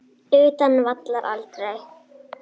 Utan vallar: Aldrei.